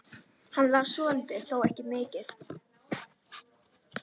Hann las svolítið, þó ekki mikið.